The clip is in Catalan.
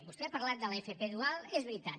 vostè ha parlat de l’fp dual és veritat